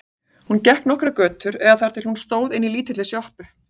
Hún gekk nokkrar götur eða þar til hún stóð inni í lítilli sjoppu.